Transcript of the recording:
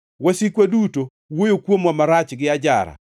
“Wasikwa duto wuoyo kuomwa marach gi ajara.